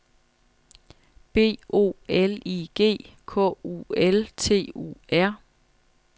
B O L I G K U L T U R